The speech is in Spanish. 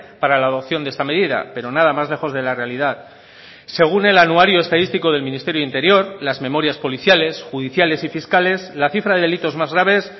para la adopción de esta medida pero nada más lejos de la realidad según el anuario estadístico del ministerio de interior las memorias policiales judiciales y fiscales la cifra de delitos más graves